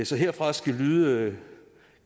så herfra skal lyde